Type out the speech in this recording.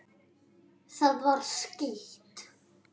Það var skítt.